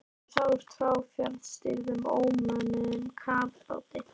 Þær sáust frá fjarstýrðum ómönnuðum kafbáti.